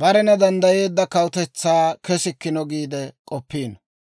barena danddayeedda kawutetsaa kesikkino giide k'oppiino.